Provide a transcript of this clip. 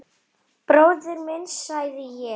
Bróðir minn, sagði ég.